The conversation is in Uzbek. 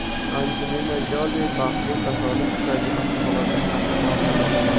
Anjelina Joli baxtli tasodif tufayli avtohalokatdan omon qoldi.